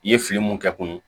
I ye fili mun kɛ kun ye